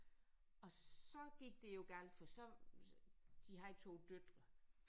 Og så gik det jo galt for så de havde døtre